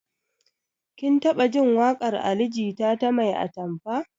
Kin taɓa jin waƙar ali jita ta 'mai atamfa'?